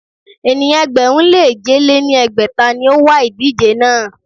Ènìyàn ẹgbẹ̀rún lé èje lé ní ẹgbẹ́ta ni ó wa ìdíje náà.